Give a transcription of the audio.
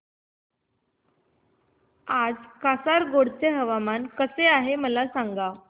आज कासारगोड चे हवामान कसे आहे मला सांगा